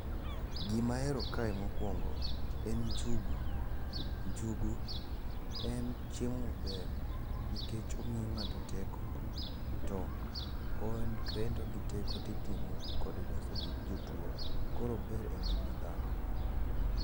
Gima ahero kae mokwongo en njugu. Njugu en chiemo maber nikech omiyo ng'ato teko to en kendo giteko titimo kode loso gik jotuo. Koro ober e ngima dhano.